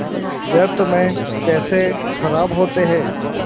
व्यर्थ में पैसे ख़राब होते हैं